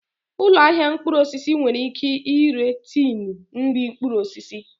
Ụlọ ahịa mkpụrụ osisi nwere ike ire tinu nri mkpụrụ osisi